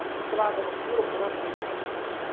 As estradas era pura buraqueira.